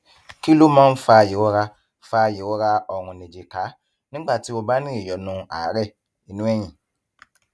kí ló máa ń fa ìrora ń fa ìrora ọrùnìjìká nígbà tí o bá ní ìyọnu àárè inú ẹyìn